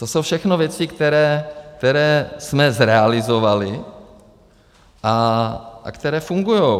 To jsou všechno věci, které jsme zrealizovali a které fungujou.